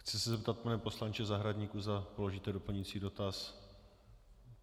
Chci se zeptat, pane poslanče Zahradníku, zda položíte doplňující dotaz.